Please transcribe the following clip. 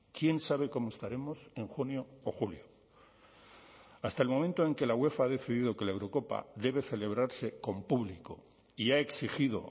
quién sabe cómo estaremos en junio o julio hasta el momento en que la uefa ha decidido que la eurocopa debe celebrarse con público y ha exigido